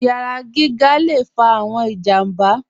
Iyàrá gígà lè fà awọn ìjàmbà.